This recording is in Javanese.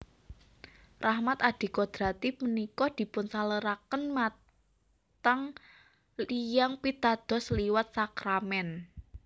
Rahmat adikodrati punika dipunsaluraken matang tiyang pitados liwat sakramèn